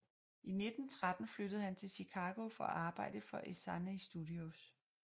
I 1913 flyttede han til Chicago for at arbejde for Essanay Studios